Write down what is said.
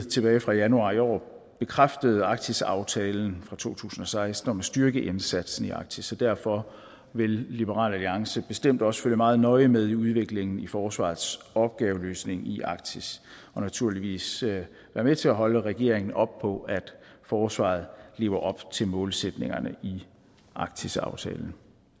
tilbage fra januar i år bekræftede arktisaftalen fra to tusind og seksten om at styrke indsatsen i arktis og derfor vil liberal alliance bestemt også følge meget nøje med i udviklingen i forsvarets opgaveløsning i arktis og naturligvis være med til at holde regeringen op på at forsvaret lever op til målsætningerne i arktisaftalen